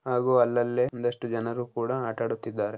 ಹಾಗೂ ಅಲ್ಲಲ್ಲೇ ಒಂದಷ್ಟು ಜನರು ಕೂಡ ಆಟ ಆಡುತ್ತಿದ್ದಾರೆ.